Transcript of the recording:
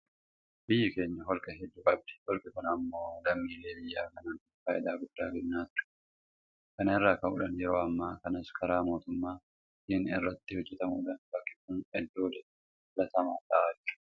Biyyi keenya holqa hedduu qabdi. Holqi kun immoo lammiilee biyya kanaatiif faayidaa guddaa kennaa ture. Kana irraa ka'uudhaan yeroo ammaa kanas karaa mootummaatiin irratti hojjetamuudhaan bakki kun iddoo daawwannaa filatamaa ta'aa jira.